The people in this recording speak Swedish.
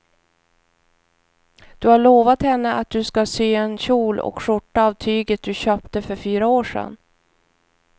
Du har lovat henne att du ska sy en kjol och skjorta av tyget du köpte för fyra år sedan.